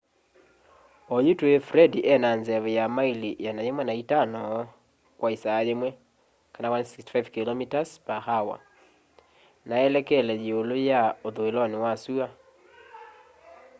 oyu tũĩ fred ena nzeve ya maili 105 kwa ĩsaa yĩmwe 165km/h na elekele yĩũlũ ya ũthũĩlonĩ wa sũa